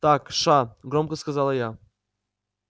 так ша громко сказала я